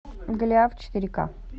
голиаф четыре ка